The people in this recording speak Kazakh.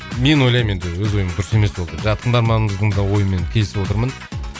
мен ойлаймын енді өз ойым дұрыс емес ол деп жаңа тыңдарманымыздың да ойымен келісіп отырмын